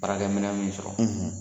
Baarakɛ minɛ min sɔrɔ?